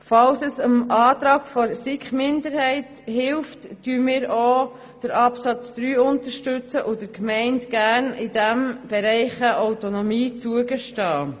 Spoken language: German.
Falls es dem Antrag der SiKMinderheit hilft, unterstützen wir auch Absatz 3 und gestehen den Gemeinden in diesem Bereich Autonomie zu.